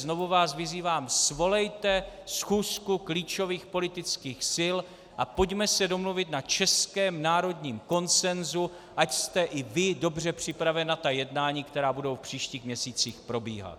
Znovu vás vyzývám, svolejte schůzku klíčových politických sil a pojďme se domluvit na českém národním konsenzu, ať jste i vy dobře připraven na ta jednání, která budou v příštích měsících probíhat.